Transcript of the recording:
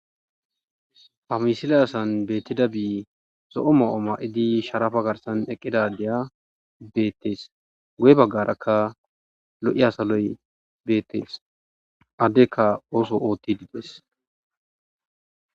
Famisile asan beettida bii zo'o ma'o ma7idi sharafa garsan eqqidadiya beettees goye baggarakka lo7i asaloy beettees addekka ooso ootti diides.